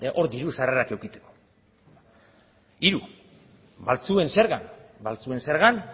hor diru sarrerak edukitzeko hiru baltzuen zerga baltzuen zergan